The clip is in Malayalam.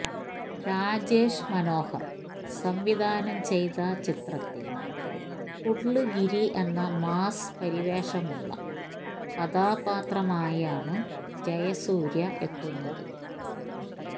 രാജേഷ് മനോഹര് സംവിധാനം ചെയ്ത ചിത്രത്തില് പുള്ള് ഗിരി എന്ന മാസ് പരിവേഷമുള്ള കഥാപാത്രമായാണ് ജയസൂര്യ എത്തുന്നത്